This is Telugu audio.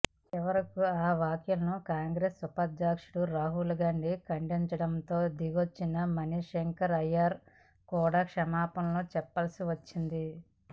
చివరకు ఆ వ్యాఖ్యలను కాంగ్రెస్ ఉపాధ్యక్షుడు రాహుల్ గాంధీ ఖండించటంతో దిగొచ్చిన మణిశంకర్ అయ్యర్ కూడా క్షమాపణలు చెప్పాల్సి వచ్చింది